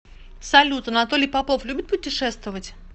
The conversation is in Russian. салют анатолий попов любит путешествовать